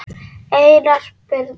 Einar Birnir.